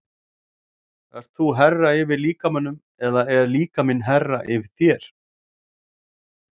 Ert þú herra yfir líkamanum eða líkaminn herra yfir þér?